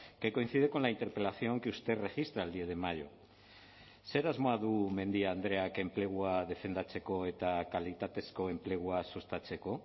que coincide con la interpelación que usted registra el diez de mayo zer asmoa du mendia andreak enplegua defendatzeko eta kalitatezko enplegua sustatzeko